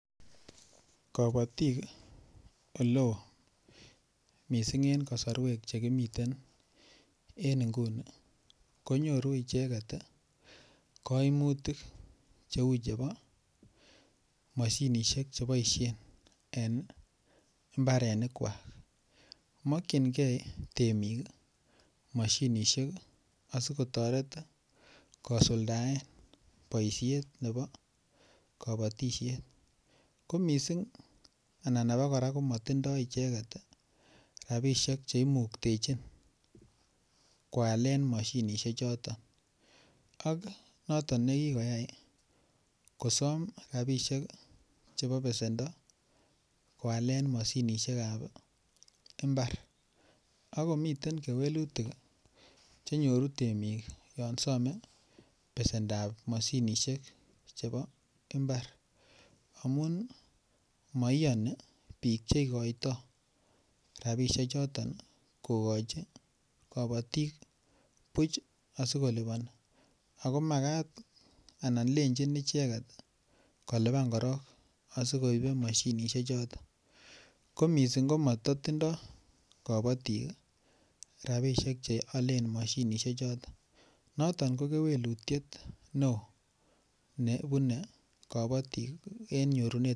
Kabatik oleo mising ko Che miten en kasarwek en nguni ko nyoru icheget koimutik cheu chebo mashinisiek Che boisien en mbarenikwak mokyingei temik mashinisiek asi kotoret kosuldaen boisiet nebo kabatisiet ko mising anan abakora ko matindoi icheget rabisiek Che imuktechin koalen mashinisiek choton ak noton nekikoyai kosom rabisiek chebo besendo koalen mashinisiek ab mbar ak komiten kewelutik Che nyoru temik yon some besendap mashinisiek chebo mbar amun maiyoni bik Che igoitoi rabisiek choton kogochi kabatik buch asi koliponi ako Makat anan lenjin icheget kolipan korok asi koibe mashinisiek choton ko mising matindoi rabisiek Che aalen mashinisiek choton noton ko kewelutiet neo nebune kabatik en nyorunet ab mashinisiek